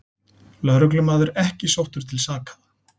Lögreglumaður ekki sóttur til saka